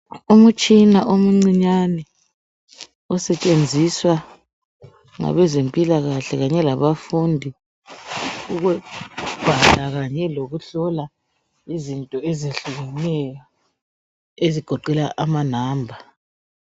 Umtshina omncinyane osetshenziswa ngabezempilakahle kanye labafundi ukubhala kanye lokuhlola izinto ezehlukeneyo ezigoqela amanamba.